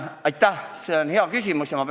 Aitäh, see on hea küsimus!